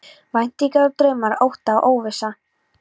Væntingar og draumar, ótti og óvissa.